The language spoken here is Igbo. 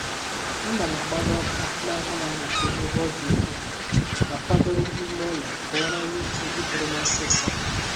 Ana m agbanye ọkụ na anaghị amụke n'ebe ọdị ukwuu, ma kwadoro ime ụlọ ka ụra nwee ike iburu m ọsịịso